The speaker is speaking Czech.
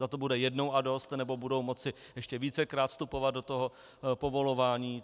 Zda to bude jednou a dost, nebo budou moci ještě vícekrát vstupovat do toho povolování?